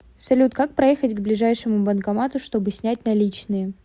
салют как проехать к ближайшему банкомату чтобы снять наличные